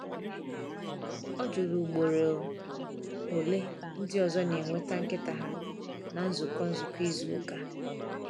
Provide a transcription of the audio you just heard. O jụrụ ugboro ole ndị ọzọ na-eweta nkịta ha na nzukọ nzukọ izu ụka.